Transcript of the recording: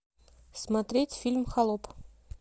смотреть фильм холоп